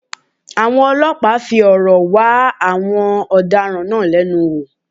Àwọn ọlọ́pàá fi òrò wá àwọn ọ̀daràn náà lẹ́nu wò